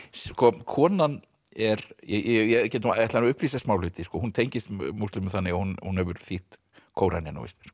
konan er ég ætla að upplýsa smá hluti hún tengist múslimum þannig að hún hún hefur þýtt Kóraninn á íslensku